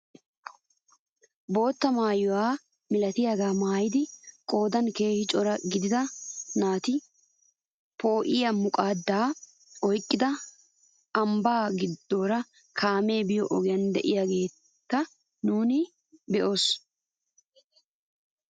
Bootta maayuwaa milatiyaagaa maayida qoodan keehi cora gidida naati poo'iyaa muqqadaa oyqqidi ambbaa gidoora kaamee biyoo ogiyaa de'iyaageta nuuni be'oos!